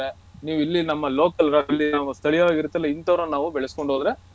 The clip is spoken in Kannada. ನೀವು ಇಲ್ಲಿ ನಮ್ಮ local ಸ್ಥಳೀಯವಾಗಿ ಇರತಲ್ಲ ಇಂತವರನ ನಾವ್ ಬೆಳ್ಸ್ಕೊಂಡು ಹೋದ್ರೆ.